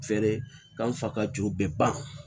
Fɛɛrɛ k'an fa ka ju bɛɛ ban